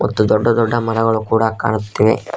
ಮತ್ತು ದೊಡ್ಡ ದೊಡ್ಡ ಮರಗಳು ಕೂಡ ಕಾಣುತ್ತಿವೆ.